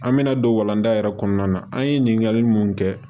An bɛna don walanda yɛrɛ kɔnɔna na an ye ɲininkali mun kɛ